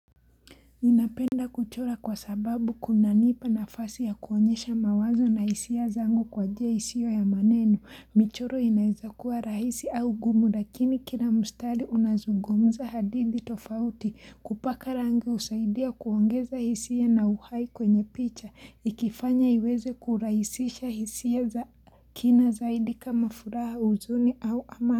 Ninapenda kuchora kwa sababu kuna nipa nafasi ya kuonyesha mawazo na hisia zango kwa jia hisio ya maneno michoro inaeza kuwa rahisi au gumu lakini kila mustari unazugumza hadithi tofauti kupaka rangi usaidia kuongeza hisia na uhai kwenye picha ikifanya iweze kuraisisha hisia za kina zaidi kama furaha uzuni au ama.